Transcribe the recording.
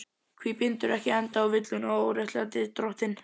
Hví bindurðu ekki enda á villuna og óréttlætið, drottinn?